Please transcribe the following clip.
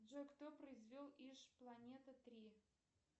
джой кто произвел иж планета три